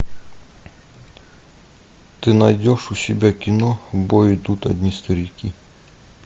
ты найдешь у себя кино в бой идут одни старики